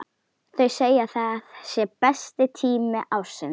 Þau segja að það sé besti tími ársins.